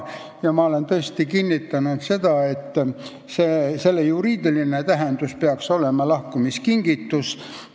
Ja ma olen tõesti kinnitanud seda, et selle juriidiline tähendus on lahkumiskingitus.